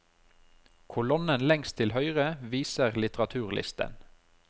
Kolonnen lengst til høyre viser til litteraturlisten.